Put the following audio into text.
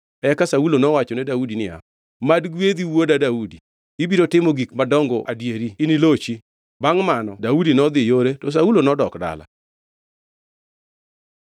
Eka Saulo nowachone Daudi niya, “Mad gwedhi wuoda Daudi; ibiro timo gik madongo adieri inilochi.” Bangʼ mano Daudi nodhi yore, to Saulo nodok dala.